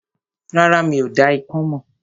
Rárá, mi ò dá ikán mọ̀